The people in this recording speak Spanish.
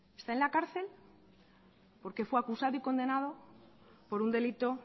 está en la cárcel porque fue acusado y condenado por un delito